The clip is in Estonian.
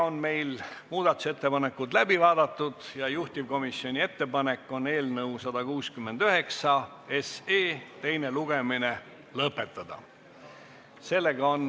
Muudatusettepanekud on läbi vaadatud ja juhtivkomisjoni ettepanek on eelnõu 169 teine lugemine lõpetada.